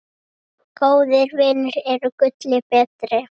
Góðir vinir eru gulli betri.